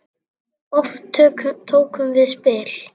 Oft tókum við spil.